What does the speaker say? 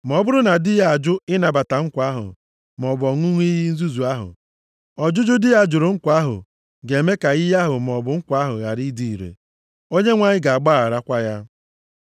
Ma ọ bụrụ na di ya ajụ ịnabata nkwa ahụ, maọbụ ọṅụṅụ iyi nzuzu ahụ, ọjụjụ di ya jụrụ nkwa ahụ ga-eme ka iyi ahụ maọbụ nkwa ahụ ghara ịdị ire. Onyenwe anyị ga-agbaghakwara ya.